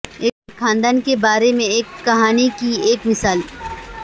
ایک خاندان کے بارے میں ایک کہانی کی ایک مثال